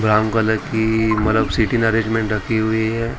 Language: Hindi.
ब्राउन कलर की मतलब सीटिंग अरेंजमेंट रखी हुई है।